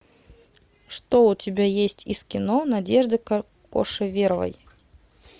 что у тебя есть из кино надежды кошеверовой